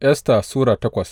Esta Sura takwas